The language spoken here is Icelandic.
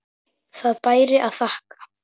Það bæri að þakka.